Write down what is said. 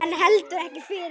En heldur ekki fyrr.